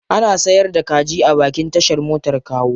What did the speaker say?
Ana sayar da kaji a bakin tashar motar Kawo.